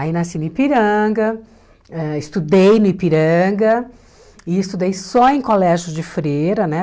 Aí nasci no Ipiranga, ãh estudei no Ipiranga e estudei só em colégio de freira, né?